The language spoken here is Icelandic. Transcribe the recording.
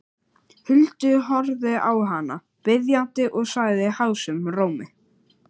Huldu, horfði á hana biðjandi og sagði hásum rómi